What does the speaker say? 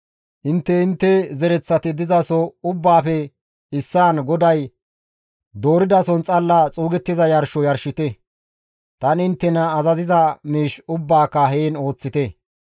Intte intte zereththati dizaso ubbaafe issaan GODAY dooridason xalla xuugettiza yarsho yarshite; tani inttena azaziza miish ubbaaka heen ooththite.